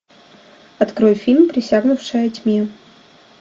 открой фильм присягнувшая тьме